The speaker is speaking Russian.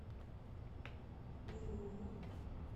белеву